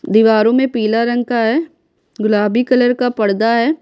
दीवारों में पीला रंग का है गुलाबी कलर का पर्दा है।